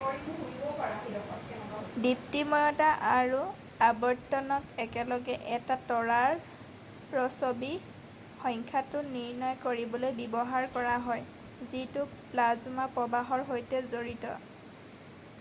দীপ্তিময়তা আৰু আৱৰ্তনক একেলগে এটা তৰাৰ ৰ'ছবি সংখ্যাটো নিৰ্ণয় কৰিবলৈ ব্যৱহাৰ কৰা হয় যিটো প্লাজমা প্ৰৱাহৰ সৈতে জড়িত